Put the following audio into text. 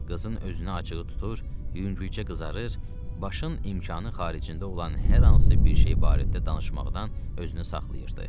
Qızın özünə acığı tutur, yüngülcə qızarır, başın imkanı xaricində olan hər hansı bir şey barədə danışmaqdan özünü saxlayırdı.